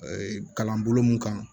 Ee kalanbolo mun kan